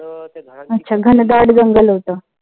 अच्छा घनदाट जंगल होत.